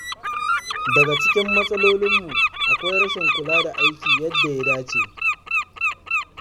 Daga cikin matsalolinmu akwai rashin kula da aiki yadda ya dace.